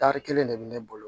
Tari kelen de bɛ ne bolo